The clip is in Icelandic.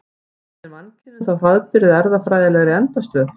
Stefnir mannkynið þá hraðbyri að erfðafræðilegri endastöð?